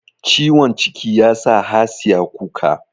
Ciwon ciki yasa Hasiya kuka